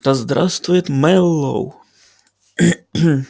да здравствует мэллоу